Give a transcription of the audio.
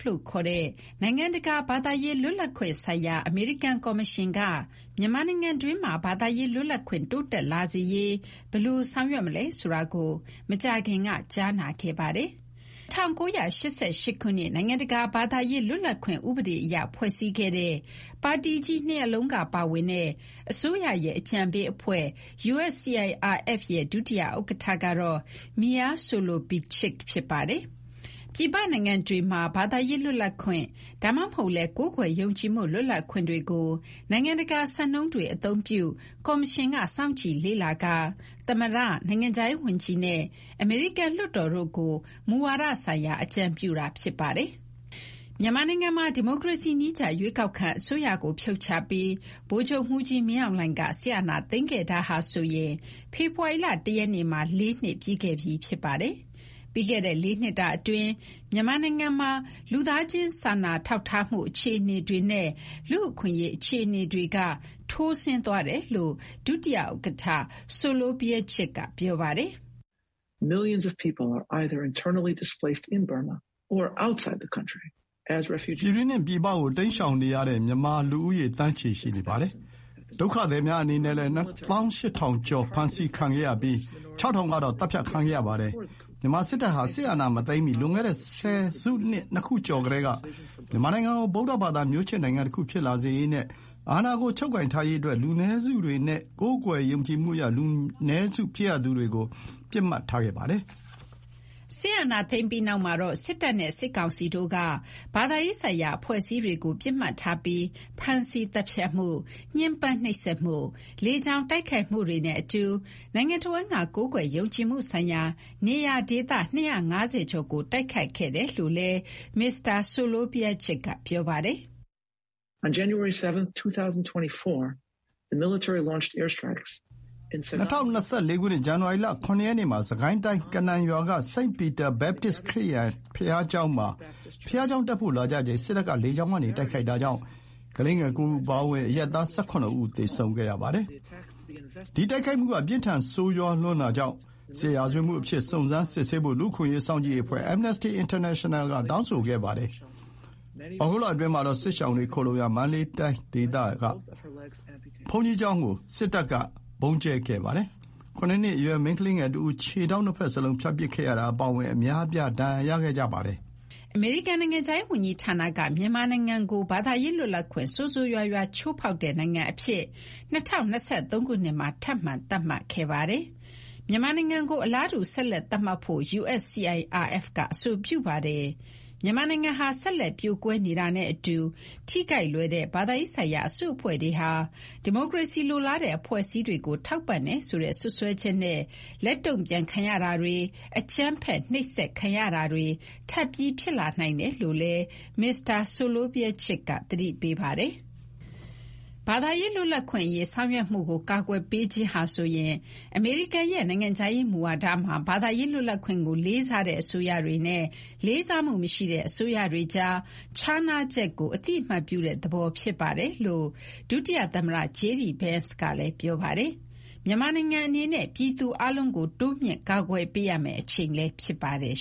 လို့ခေါ်တဲ့ နိုင်ငံတကာ ဘာသာရေးလွတ်လပ်ခွင့်ဆိုင်ရာ အမေရိကန်ကော်မရှင်က မြန်မာနိုင်ငံတွင်းမှာ ဘာသာရေးလွတ်လပ်ခွင့် တိုးတက်လာစေရေး ဘယ်လို ဆောင်ရွက်မလဲ ဆိုတာကို မကြာခင်က ကြားနာခဲ့ပါတယ်။ ၁၉၈၈ ခုနှစ် နိုင်ငံတကာ ဘာသာရေးလွတ်လပ်ခွင့် ဥပဒေ အရ ဖွဲ့စည်းခဲ့တဲ့ ပါတီကြီးနှစ်ရပ်လုံးကပါဝင်တဲ့ အစိုးရရဲ့ အကြံပေးအဖွဲ့ USCIRFရဲ့ ဒုတိယ ဥက္ကဋ္ဌကတော့ Meir Soloveichik ဖြစ်ပါတယ်။ ပြည်ပနိုင်ငံတွေမှာ ဘာသာရေးလွတ်လပ်ခွင့် ဒါမှမဟုတ်လည်း ကိုးကွယ်ယုံကြည်မှု လွတ်လပ်ခွင့်တွေကို နိုင်ငံတကာစံနှုန်းတွေ အသုံးပြုပြီး ကော်မရှင်က စောင့်ကြည့်လေ့လာကာ သမ္မတ၊ နိုင်ငံခြားရေးဝန်ကြီးနဲ့ အမေရိကန်လွှတ်တော်တို့ကို မူဝါဒဆိုင်ရာ အကြုံပြုတာ ဖြစ်ပါတယ်။ မြန်မာနိုင်ငံမှာ ဒီမိုကရေစီနည်းကျ ရွေးကောက်ခံအစိုးရကို ဖြုတ်ချပြီး ဗိုလ်ချုပ်မှူးကြီး မင်းအောင်လှိုင်က စစ်အာဏာသိမ်းခဲ့တာဟာဆိုရင် ဖေဖော်ဝါရီလ ၁ ရက်နေ့မှာ ၄ နှစ်ပြည့်ခဲ့ပြီး ဖြစ်ပါတယ်။ ပြီးခဲ့တဲ့ ၄ နှစ်တာအတွင်း မြန်မာနိုင်ငံမှာ လူ့အခွင့်အရေးနဲ့ လူသားချင်း စာနာထောက်ထားမှု အခြေအနေတွေ ထိုးဆင်းသွားတယ်လို့ ဒုတိယဥက္ကဋ္ဌ Soloveichik က ပြောပါတယ်။ “ပြည်တွင်းနဲ့ ပြည်ပကို ထွက်ပြေးတိမ်းရှောင်ရတဲ့ မြန်မာလူဦးရေ သန်းချီ ရှိနေပါတယ်။ ဒုက္ခသည်များအနေနဲ့လည်း ၂၈,၀၀၀ ကျော် ဖမ်းဆီးခံရပြီး ၆,၀၀၀ ကတော့ သတ်ဖြတ်ခံရပါတယ်။ မြန်မာ စစ်တပ်ဟာ စစ်အာဏာမသိမ်းမီ လွန်ခဲ့တဲ့ ဆယ်စုနှစ် ၂ ခုကျော်ကတည်းက မြန်မာနိုင်ငံကို ဗုဒ္ဓဘာသာ မျိုးချစ်နိုင်ငံတခု ဖြစ်လာစေရေးနဲ့ အာဏာကို ချုပ်ကိုင်ထားရေးအတွက် လူနည်းစုတွေနဲ့ ကိုးကွယ်ယုံကြည်မှုအရ လူနည်းစု ဖြစ်ရသူတွေကို ပစ်မှတ်ထားခဲ့ပါတယ်။” စစ်အာဏာသိမ်းပြီးနောက်မှာတော့ စစ်တပ်နဲ့ စစ်ကောင်စီတို့က ဘာသာရေးဆိုင်ရာ အဖွဲ့အစည်းတွေကို ပစ်မှတ်ထားပြီး ဖမ်းဆီး သတ်ဖြတ်မှု၊ ညှဉ်းပန်းနှိပ်စက်မှု၊ လေကြောင်း တိုက်ခိုက်မှုတွေနဲ့ အတူ နိုင်ငံတဝန်းက ကိုးကွယ်ယုံကြည်မှုဆိုင်ရာ နေရာဒေသ ၂၅၀ ကျော်ကို တိုက်ခိုက်ခဲ့တယ်လို့လည်း မစ္စတာ Soloveichik က ပြောပါတယ်။ “၂၀၂၄ ခုနှစ် ဇန်နဝါရီလ ၇ ရက်နေ့မှာ စစ်ကိုင်းတိုင်း ကနန်ရွာက စိန့်ပီတာ ဘက်ပတစ် ခရစ်ယာန် ဘုရားကျောင်းမှာ ဘုရားကျောင်းတက်ဖို့ လာကြချိန် စစ်တပ်က လေကြောင်းကနေ တိုက်ခိုက်တာကြောင့် ကလေးငယ် ၉ ဦးအပါအဝင် အရပ်သား ၁၇ ဦး သေဆုံးခဲ့ရပါတယ်။ ဒီတိုက်ခိုက်မှုက ပြင်းထန် ဆိုးရွားလွန်းတာကြောင့် စစ်ရာဇဝတ်မှုအဖြစ် စုံစမ်းစစ်ဆေးဖို့ လူ့အခွင့်အရေး စောင့်ကြည့်ရေးအဖွဲ့ Amnesty International က တောင်းဆိုခဲ့ပါတယ်။ သြဂုတ်လအတွင်းမှာတော့ စစ်ရှောင်တွေခိုလှုံရာ မန္တလေးဒေသက ဘုန်းကြီးကျောင်းကို စစ်တပ်က ဗုံးကြဲခဲ့ပါတယ်။ ၇ နှစ် အရွယ် မိန်းကလေးငယ်တဦး ခြေထောက်နှစ်ဘက်လုံး ဖြတ်ပစ်ခဲ့ရတာ အပါအဝင် အများအပြား ဒဏ်ရာရခဲ့ပါတယ်။” အမေရိကန် နိုင်ငံခြားရေးဝန်ကြီးဌာနက မြန်မာနိုင်ငံကို ဘာသာရေးလွတ်လပ်ခွင့် ဆိုးဆိုးရွားရွား ချိုးဖောက်တဲ့ နိုင်ငံအဖြစ် ၂၀၂၃ ခုနှစ်မှာ ထပ်မံသတ်မှတ်ခဲ့ပါတယ်။ မြန်မာနိုင်ငံကို အလားတူ ဆက်လက်သတ်မှတ်ဖို့ USCIRF က အဆိုပြုပါတယ်။ မြန်မာနိုင်ငံဟာ ဆက်လက် ပြိုကွဲနေတာနဲ့ အတူ ထိခိုက်လွယ်တဲ့ ဘာသာရေးဆိုင်ရာ အစုအဖွဲ့တွေဟာ ဒီမိုကရေစီလိုလားတဲ့ အဖွဲ့အစည်းတွေကို ထောက်ပံ့တယ်ဆိုတဲ့ စွပ်စွဲချက်နဲ့ လက်တုန့်ပြန်ခံရတာတွေ၊ အကြမ်းဖက်၊ နှိပ်စက်ခံရတာတွေ ထပ်ပြီး ဖြစ်လာနိုင်တယ်လို့လည်း မစ္စတာ Soloveichik က သတိပေးပါတယ်။ ဘာသာရေးလွတ်လွပ်ခွင့်အရေး ဆောင်ရွက်မှုကို ကာကွယ်ပေးခြင်းဟာဆိုရင် အမေရိကန်ရဲ့ နိုင်ငံခြားရေးမူဝါဒမှာ ဘာသာရေးလွတ်လပ်ခွင့်ကို လေးစားတဲ့ အစိုးရတွေနဲ့ လေးစားမှုမရှိတဲ့ အစိုးရတွေကြား ခြားနားချက်ကို အသိအမှတ်ပြုတဲ့သဘော ဖြစ်ပါတယ်လို့ ဒုတိယသမ္မတ JD Vance ကလည်း ပြောပါတယ်။ မြန်မာနိုင်ငံအနေနဲ့ ပြည်သူအားလုံးကို တိုးမြှင့် ကာကွယ်ပေးရမယ့် အချိန်လည်း ဖြစ်ပါတယ်